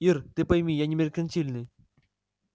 ир ты пойми я не меркантильный